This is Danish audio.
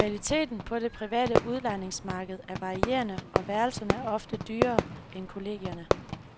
Kvaliteten på det private udlejningsmarked er varierende og værelserne er ofte dyrere end kollegierne.